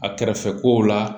A kɛrɛfɛ kow la